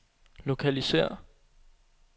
lokalisér